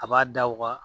A b'a da u ka